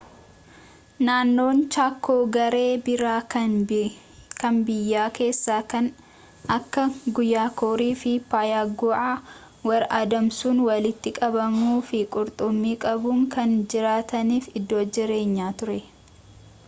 naannoon chaakoo garee biraa kan biyya kessaa kan akka guyaakorii fi payagu’aa warra adamsuun, walitti qabuu fi qurxummii qabuun kan jiraataniif iddoo jireenyaa ture